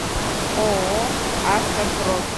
ооо автопрофи